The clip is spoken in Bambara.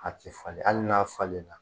A tɛ falen hali n'a falen na.